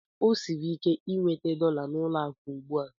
O siri ike inweta dọla n'ụlọ akụ ugbu a.